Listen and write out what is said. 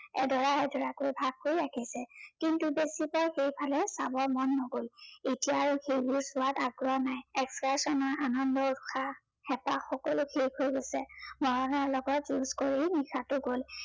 এদৰা এদৰাকৈ ভাগ কৰি ৰাখিছে কিন্তু সেইফালে চাবৰ মন নগল এতিয়া আৰু সেইবোৰ চোৱাত আগ্ৰহ নাই excursion ৰ আনন্দৰ উৎসাহ, হেপাহ সকলো শেষ হৈ গৈছে, নয়নৰ লগত যুজ কৰি নিশাটো গল।